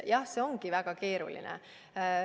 Jah, see ongi väga keeruline.